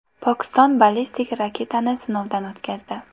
Pokiston ballistik raketani sinovdan o‘tkazdi.